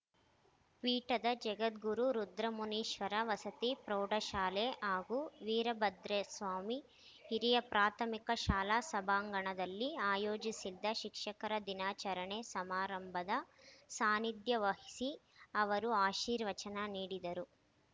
ಪೀಠದ ಜಗದ್ಗುರು ರುದ್ರಮುನೀಶ್ವರ ವಸತಿ ಪ್ರೌಢಶಾಲೆ ಹಾಗೂ ವೀರಭದ್ರಸ್ವಾಮಿ ಹಿರಿಯ ಪ್ರಾಥಮಿಕ ಶಾಲಾ ಸಭಾಂಗಣದಲ್ಲಿ ಆಯೋಜಿಸಿದ್ದ ಶಿಕ್ಷಕರ ದಿನಾಚರಣೆ ಸಮಾರಂಭದ ಸಾನಿಧ್ಯ ವಹಿಸಿ ಅವರು ಆಶೀರ್ವಚನ ನೀಡಿದರು